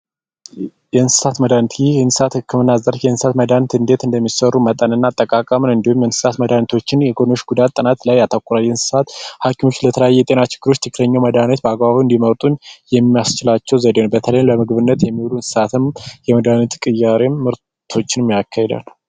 የእንስሳት መድኃኒት ይህን የእንስሳት ዘርፍ የእንስሳት መድኃኒት እንዴት እንደሚሰሩ መጠን እና ጠቃሚ እንዲሁም የእንስሳት መድኃኒት የጎንዮሽ ጉዳት ጥናት ላይ ያተኩራል። የእሳት ሐኪሞች ለተለያዩ የጤና ችግሮች ትክክለኛው መድሃኒት በአግባቡ እንዲወጡ የሚያስችላቸውን ዘዴ ነው። በተለይ ለመጎብኘት የሚሄዱ እንስሣትም የመድኃኒት ቅያሪ ምርቶችን ያካሂዳል።